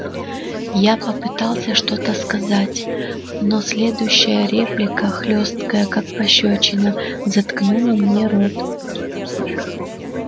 я попытался что-то сказать но следующая реплика хлёсткая как пощёчина заткнула мне рот